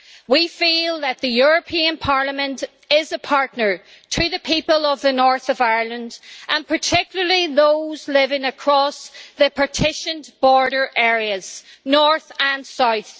We feel that the European Parliament is a partner to the people of the North of Ireland and particularly those living across the partitioned border areas, north and south.